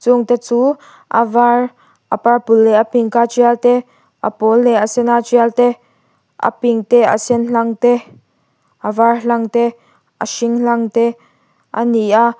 rawng te chu a var a purple leh a pink a tial te a pawl leh a sen a tial te a pink te a sen hlang te a var hlang te a hring hlang te a ni a.